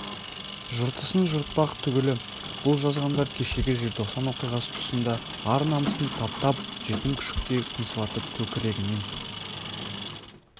жыртысын жыртпақ түгілі бұл жазғандар кешегі желтоқсан оқиғасы тұсында ар-намысын таптап жетім күшіктей қыңсылатып көкірегінен